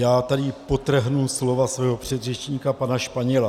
Já tady podtrhnu slova svého předřečníka pana Španěla.